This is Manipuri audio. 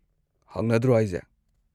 ꯍꯥꯡꯅꯗ꯭ꯔꯣ ꯍꯥꯢꯖꯦ?